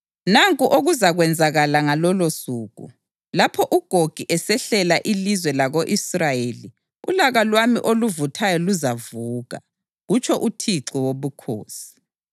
Nanku okuzakwenzakala ngalolosuku: Lapho uGogi esehlasela ilizwe lako-Israyeli ulaka lwami oluvuthayo luzavuka, kutsho uThixo Wobukhosi.